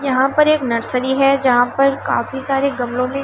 यहां पर एक नर्सरी है जहां पर काफी सारे गमलों मे --